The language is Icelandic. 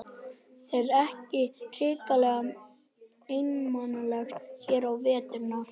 Er ekki hrikalega einmanalegt hér á veturna?